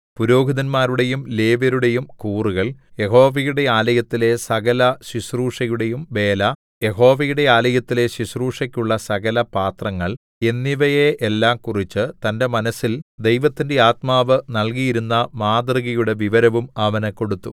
പുരോഹിതന്മാരുടെയും ലേവ്യരുടെയും കൂറുകൾ യഹോവയുടെ ആലയത്തിലെ സകലശുശ്രൂഷയുടെയും വേല യഹോവയുടെ ആലയത്തിലെ ശുശ്രൂഷെക്കുള്ള സകലപാത്രങ്ങൾ എന്നിവയെയെല്ലാം കുറിച്ച് തന്റെ മനസ്സിൽ ദൈവത്തിന്റെ ആത്മാവ് നല്‍കിയിരുന്ന മാതൃകയുടെ വിവരവും അവന് കൊടുത്തു